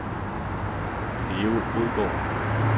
Leo Odgaard